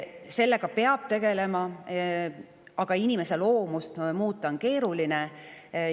Sellega peab tegelema, aga inimese loomust muuta on keeruline.